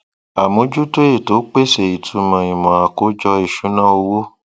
amójútó ètò pèsè ìtumọ ìmò àkójọ ìṣúná owó